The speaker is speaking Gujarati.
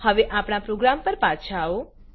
હવે આપણા પ્રોગ્રામ પર પાછા આવો